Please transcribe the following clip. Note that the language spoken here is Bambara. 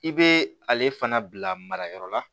I bɛ ale fana bila marayɔrɔ la